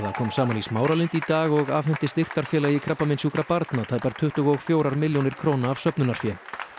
kom saman í Smáralind í dag og afhenti styrktarfélagi krabbameinssjúkra barna tæpar tuttugu og fjórar milljónir króna af söfnunarfé